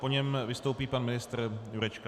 Po něm vystoupí pan ministr Jurečka.